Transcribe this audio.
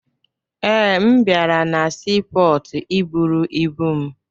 Ee, abịara na siipọọtụ iburu ibu m